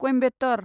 Coimbatore